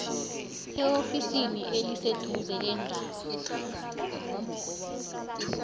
eofisini eliseduze leendaba